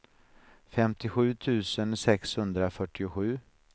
femtiosju tusen sexhundrafyrtiosju